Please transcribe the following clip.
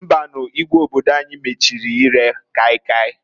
Mbanuǃ Igwe obodo anyi mechiri ire kai kai.